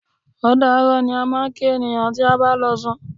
Ódàárọ̀ ni a máa ń kí ènìyàn tí a bá ń lọ sùn.